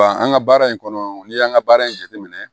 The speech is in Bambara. Wa an ka baara in kɔnɔ n'i y'an ka baara in jateminɛ